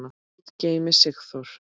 Guð geymi Sigþór.